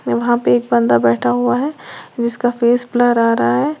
वहां पे एक बंदा बैठा हुआ है जिसका फेस ब्लर आ रहा है।